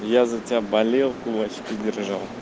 я за тебя болел кулачки держал